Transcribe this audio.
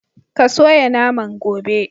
Ka soya naman, gobe!.'